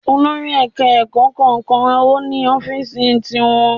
Olórí Èka ẹ̀kọ́ kọ̀ọ̀kan ni o ni Ófììsì ti wọn